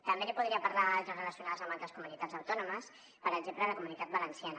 també li podria parlar d’altres relacionades amb altres comunitats autònomes per exemple la comunitat valenciana